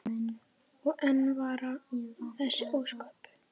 Og enn vara þessi ósköp.